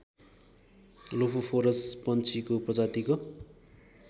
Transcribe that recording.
Lophophorus पक्षीको प्रजातिको